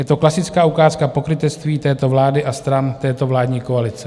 Je to klasická ukázka pokrytectví této vlády a stran této vládní koalice.